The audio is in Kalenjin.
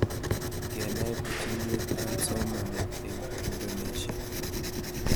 Kenai pichinwek ab somanet eng'Indonesia